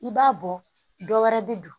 I b'a bɔ dɔ wɛrɛ bɛ don